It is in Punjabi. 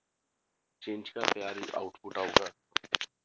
Change output ਆਊਗਾ